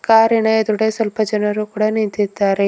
ಕಾರಿನ ಎದ್ರುಗಡೆ ಸ್ವಲ್ಪ ಜನ ಕೂಡ ನಿಂತಿದ್ದಾರೆ.